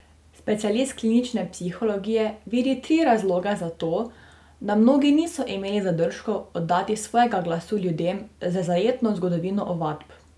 Specialist klinične psihologije vidi tri razloge za to, da mnogi niso imeli zadržkov oddati svojega glasu ljudem z zajetno zgodovino ovadb.